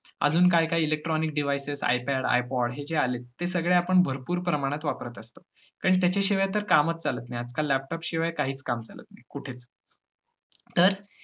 अजून काही-काही electronic devices iPad, iPod हे जे आलेत, ते सगळे आपण भरपूर प्रमाणात वापरत असतो कारण त्याच्याशिवाय तर कामच चालत नाही. आजकाल laptop शिवाय काहीच काम चालत नाही, कुठेच तर